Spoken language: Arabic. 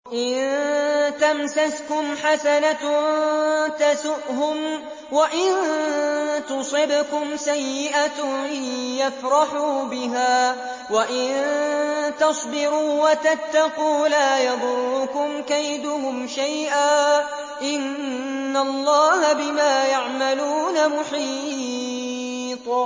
إِن تَمْسَسْكُمْ حَسَنَةٌ تَسُؤْهُمْ وَإِن تُصِبْكُمْ سَيِّئَةٌ يَفْرَحُوا بِهَا ۖ وَإِن تَصْبِرُوا وَتَتَّقُوا لَا يَضُرُّكُمْ كَيْدُهُمْ شَيْئًا ۗ إِنَّ اللَّهَ بِمَا يَعْمَلُونَ مُحِيطٌ